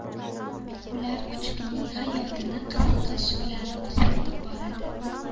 Ular kuchukning hayotini qiziqish bilan kuzatib boradi.